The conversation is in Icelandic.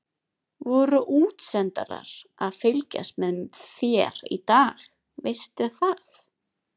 Voru útsendarar að fylgjast með þér í dag, veistu það?